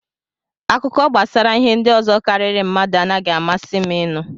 Akụkọ gbasara ihe ndị ọzọ karịrị mmadụ anaghị amasị m inu.